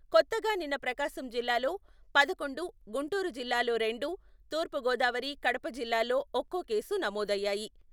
కొత్తగా నిన్న ప్రకాశం జిల్లాలో పదకొండు, గుంటూరు జిల్లాలో రెండు, తూర్పు గోదావరి, కడప జిల్లాలో ఒక్కో కేసు నమోదయ్యాయి.